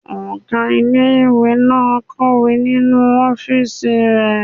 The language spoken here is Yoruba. Ọgá ilé-ìwé náà n kọ̀wé nínu ọ́fìsì rẹ̀